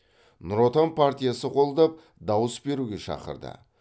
нұр отан партиясы қолдап дауыс беруге шақырды